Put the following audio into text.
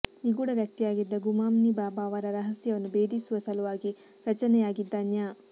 ನಿಗೂಢ ವ್ಯಕ್ತಿಯಾಗಿದ್ದ ಗುಮ್ನಾನಿ ಬಾಬಾ ಅವರ ರಹಸ್ಯವನ್ನು ಬೇಧಿಸುವ ಸಲುವಾಗಿ ರಚನೆಯಾಗಿದ್ದ ನ್ಯಾ